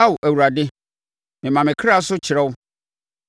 Ao Awurade, mema me kra so kyerɛ wo;